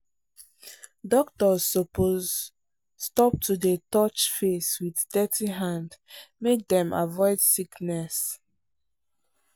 doctors suppose stop to dey touch face with dirty hand make dem avoid sickness.